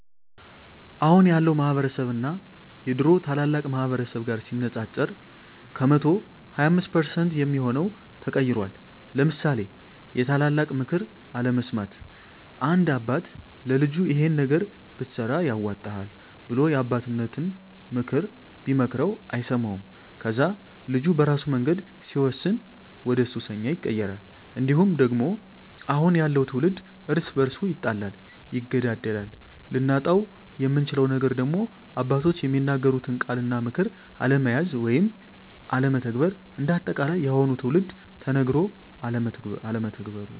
አሁን ያለው ማህበረስብ እና የድሮ ታላላቅ ማህበረሰብ ጋር ሲነፃፀር ከ100% 25% የሚሆው ተቀይሯል ለምሳሌ የታላላቅ ምክር አለመስማት፦ አንድ አባት ለልጁ ይሄን ነገር ብትሰራ ያዋጣሀል ብሎ የአባቴነተን ምክር ቢመክረው አይሰማውም ከዛ ልጁ በራሱ መንገድ ሲወስን ወደሱሰኛ ይቀየራል። እንዲሁም ደግሞ አሁን ያለው ትውልድ እርስ በርሱ ይጣላል ይገዳደላል። ልናጣው የምንችለው ነገር ደግሞ አባቶች የሚናገሩትን ቃላት እና ምክር አለመያዝ ወይም አለመተግበር። እንደ አጠቃላይ የአሁኑ ትውልድ ተነገሮ አለመተግበሩ